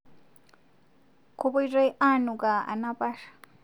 Kopoitoi aanukaa anapar